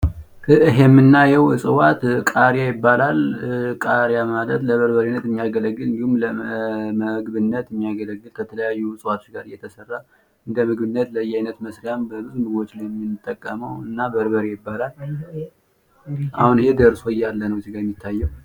ይህ የምናየው እጽዋት ቃሪያ ይባላል፤ ቃሪያ ማለት ለበርበሬነት መስሪያ የሚያገለግል፣ እንዲሁም ለምግብነት የሚያገለግል እጽዋት ነው። ይሄ የምናየው የደረሰውን ነው።